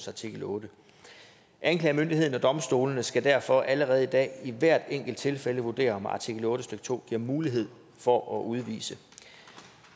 artikel ottende anklagemyndigheden og domstolene skal derfor allerede i dag i hvert enkelt tilfælde vurdere om artikel otte stykke to giver mulighed for at udvise